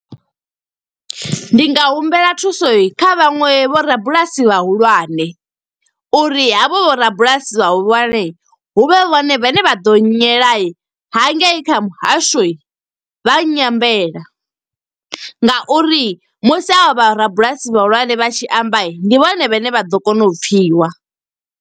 Ndi nga humbela thuso kha vhaṅwe vho rabulasi vhahulwane, uri havho vho rabulasi vhahulwane huvhe vhone vhe ne vha ḓo nye la. Hangei kha muhasho, vha nyambela nga uri musi ha vha vha rabulasi vhahulwane, vha tshi amba ndi vhone vhane vha ḓo kona u pfiwa.